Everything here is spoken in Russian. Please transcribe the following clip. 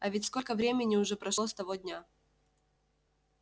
а ведь сколько времени уже прошло с того дня